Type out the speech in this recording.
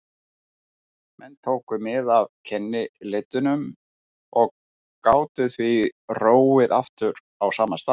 Menn tóku mið af kennileitunum og gátu því róið aftur á sama stað.